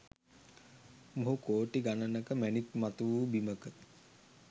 මොහු කෝටි ගණනක මැණික්‌ මතුවූ බිමක